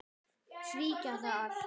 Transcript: Svíkja það.